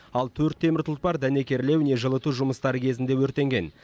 ал төрт темір тұлпар дәнекерлеу не жылыту жұмыстары кезінде өртенген